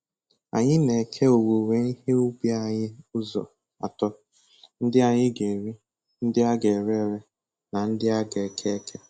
Anyị na-eke owuwe ihe ubi anyị ụzọ atọ: ndị anyị ga-eri, ndị a ga-ere ere na ndị a ga-eke eke